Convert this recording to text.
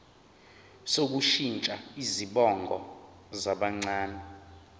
sokushintsha izibongo zabancane